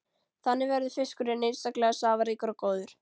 Þannig verður fiskurinn einstaklega safaríkur og góður.